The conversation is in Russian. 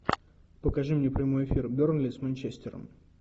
покажи мне прямой эфир бернли с манчестером